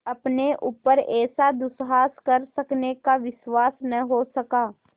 अपने ऊपर ऐसा दुस्साहस कर सकने का विश्वास न हो सका